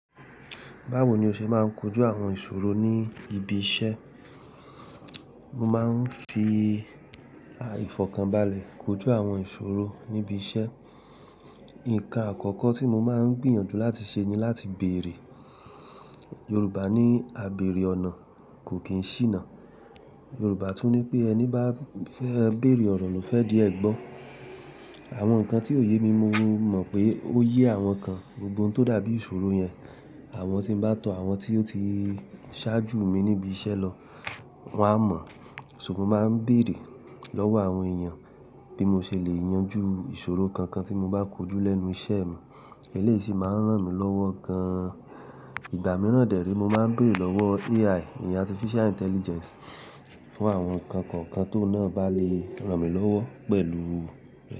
Báwo ni o ṣe máa ń kojú àwọn ìṣòro ní ibi iṣẹ́? Mo máa ń fi àìfọ̀kànbalẹ̀ kojú àwọn ìṣòro níbi iṣẹ́. Ǹkan àkọ́kọ́ tí mo máa ń gbìyànjú láti ṣe ni láti bèrè. Yorùbá ní "Àbéèrè ọ̀nà kò kì í ṣìnà". Yorùbá tún ní pé ".Ẹni bá fẹ́ bèrè ọ̀rọ̀ ló fẹ́ di ẹgbọ́". Àwọn nǹkan tí òye mi, mo mọ̀ pé ó yé àwọn kan, gbogbo ohun tó dàbí ìṣòro yẹn, àwọn tí n bá tọ àwọn tí ó ti ṣáájú mi níbi iṣẹ́ lọ, wọ́n á mọ̀. So mo máa ń bèrè lọ́wọ́ àwọn èèyàn bí mo ṣe lè yanjú ìṣòro kankan tí mo bá kojú lẹ́nu iṣẹ́ mi. Eléyìí sì máa ń ràn mí lọ́wọ́ gan-an. Ìgbà mìíràn dẹ̀ re, mo máa ń bèrè lọ́wọ́ AI, Artificial Intelligence, fún àwọn nǹkan kọ̀ọ̀kan tó náà bá lè ràn mí lọ́wọ́ pẹ̀lú.